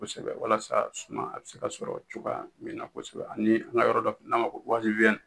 Kosɛbɛ walasa suman a be se ka sɔrɔ cogoya min na kosɛbɛ ani an ga yɔrɔ dɔ n'an b'a fɔ buwaliwiyɛni